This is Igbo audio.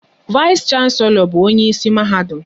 Vais shanselo bụ onyeisi Mahadum